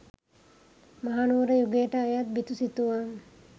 මහනුවර යුගයට අයත් බිතු සිතුවම්